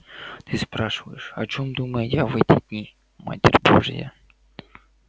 ты спрашиваешь о чем думаю я в эти дни матерь божья